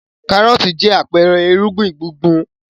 Kárọ́tì jẹ́ àpẹẹrẹ ìrúgbìn gbùngbùn.